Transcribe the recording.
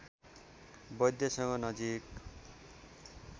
वैद्यसँग नजीक